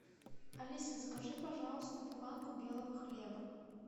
алиса закажи пожалуйста буханку белого хлеба